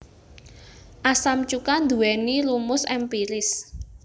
Asam cuka nduwèni rumus èmpiris